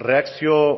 erreakzio